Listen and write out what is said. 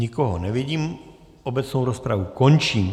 Nikoho nevidím, obecnou rozpravu končím.